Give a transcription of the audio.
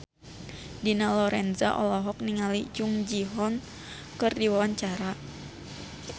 Dina Lorenza olohok ningali Jung Ji Hoon keur diwawancara